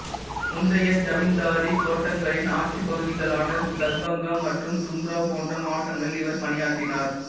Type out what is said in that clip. முந்தைய ஜமீந்தாரி தோட்டங்களின் ஆட்சிப் பகுதிகளான தர்பங்கா மற்றும் தும்ராவ் போன்ற மாவட்டங்களில் இவர் பணியாற்றினார்